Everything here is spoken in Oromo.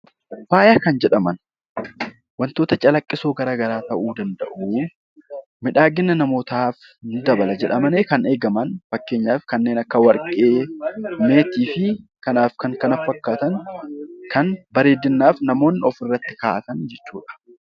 Faaya kan jedhaman, waantota claqqisoo garaagaraa ta'uu danda'u, miidhagina namootaaf ni dabala jedhamanii kan eegaman fakkeenyaaf kanneen akka warqii, meetii fi kanaa fi kan kana fakkaatan kan bareedinaaf namoonni ofirraa kaa'atan jechuudha.